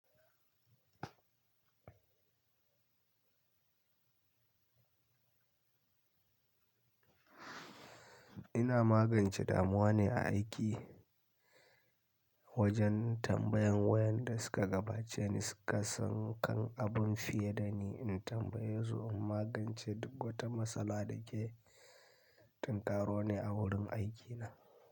Ina magance damuwa ne a aiki wajen tambayan wayanda suka gabace ni suka san kan abun fiye da ni in tambaye su in magance duk wata matsala da ke tinƙaroni a wurin aikina.